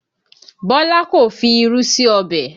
Bọ́lá kò fi irú sí ọbẹ̀